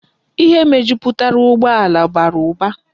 Ihe mejuputara ugbo ala bara uba